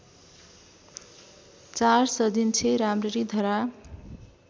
४ सजिन्छे राम्ररी धरा